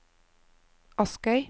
Askøy